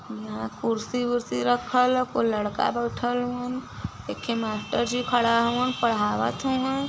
यहाँ कुर्सी-वुर्शी रखल ह। कोई लड़का बाईठल हाऊ एके थे मास्टर जी खड़ा हाऊ पढ़ावत हउअ।